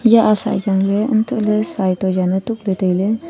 eya a saai chang ley antohley saai to zaan chukley tailey.